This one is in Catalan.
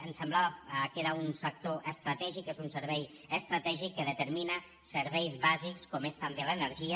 ens semblava que era un sector estratègic és un servei estratègic que determina serveis bàsics com és també l’energia